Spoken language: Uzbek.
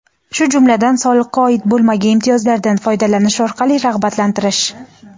shu jumladan soliqqa oid bo‘lmagan imtiyozlardan foydalanish orqali rag‘batlantirish;.